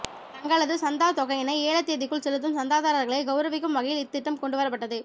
தங்களது சந்தாத்தொகையினை ஏல தேதிக்குள் செலுத்தும் சந்தாதாரர்களை கெளரவிக்கும் வகையில் இத்திட்டம் கொண்டுவரப்பட்டது